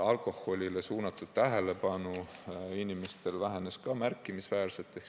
Alkoholile suunatud tähelepanu inimestel vähenes ka märkimisväärselt.